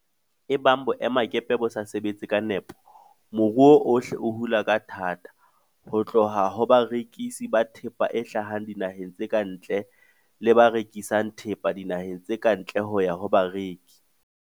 Ebang boemakepe bo sa sebe tse ka nepo, moruo ohle o hula ka thata, ho tloha ho barekisi ba thepa e hlahang dinaheng tse ka ntle le ba rekisang thepa dinaheng tse ka ntle ho ya ho bareki.